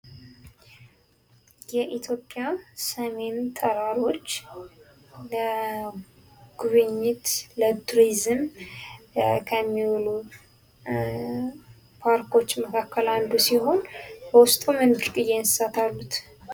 የኢትዮጵያ ሰሜን ተራሮች ለጉብኝት፣ ለቱሪዝም ከሚውሉ ፓርኮች መካከል አንዱ ሲሆን ውስጡ ምን ብርቅዬ እንስሳት አሉት?